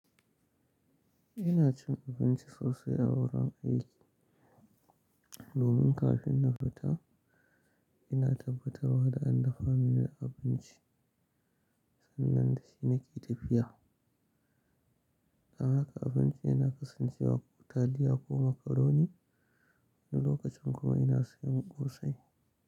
Ina cin abinci sosai a wurin aiki. Domin kafin na fita, ina tabbatarwa da an dafa mini abinci sannan shi nake tafiya. Amma haka abinci yana kasancewa ko taliya ko makaroni. Wani lokacin kuma ina sayan ƙosai.